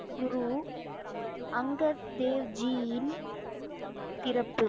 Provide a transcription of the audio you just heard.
குரு அங்கத் தேவ் ஜியின் பிறப்பு?